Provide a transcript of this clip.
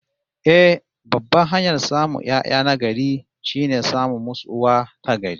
Eh, babban hanyar samun 'ya'ya na gari, shine samun musu uwa ta gari